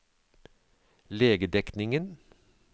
legedekningen